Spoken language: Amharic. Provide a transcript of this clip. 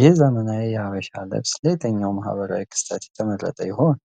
ይህ ዘመናዊ የሐበሻ ልብስ ለየትኛው ማኅበራዊ ክስተት የተመረጠ ይሆን?